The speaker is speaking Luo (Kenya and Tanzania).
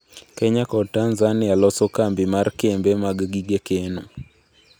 Kenya kod Tanzania loso kambi mar kembe mag gige keno